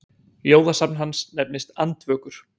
Ljóðasafn hans nefnist Andvökur.